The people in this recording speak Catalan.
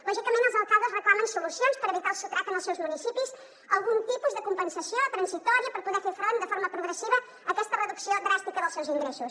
lògicament els alcaldes reclamen solucions per evitar el sotrac en els seus municipis algun tipus de compensació transitòria per poder fer front de forma progressiva a aquesta reducció dràstica dels seus ingressos